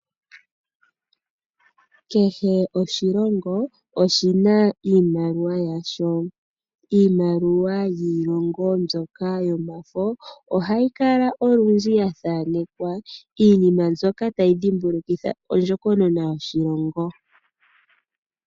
Kehe oshilongo oshina iimaliwa yasho. Iimaliwa yiilongo mbyoka yomafo ohayi kala olundji ya thaanekwa iinima mbyoka tayi dhimbulukitha ondjokonona yoshilongo.